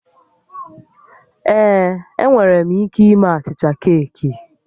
Ee, enwere m ike ime achịcha keeki